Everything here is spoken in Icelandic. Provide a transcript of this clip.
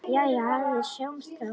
Jæja, við sjáumst þá.